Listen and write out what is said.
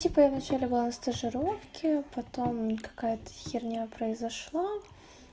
типа я вначале была на стажировке потом какая-то херня произошла